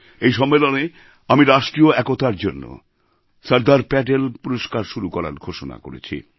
এই সম্মেলনে আমি রাষ্ট্রীয় একতার জন্য সরদার প্যাটেল পুরস্কার শুরু করার ঘোষণা করেছি